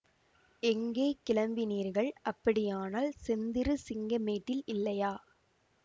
எங்கே கிளம்பினீர்கள் அப்படியானால் செந்திரு சிங்கமேட்டில் இல்லையா